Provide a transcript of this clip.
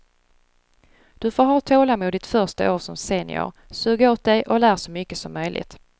Du får ha tålamod ditt första år som senior, sug åt dig och lär så mycket som möjligt.